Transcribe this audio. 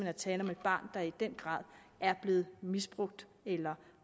er tale om et barn der i den grad er blevet misbrugt eller